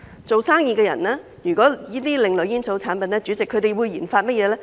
做生意的人如研發這些另類煙草產品，他們會研發甚麼呢？